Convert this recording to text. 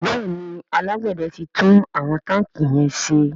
Béèni alágbède tí tún àwọn tanki yén ṣe.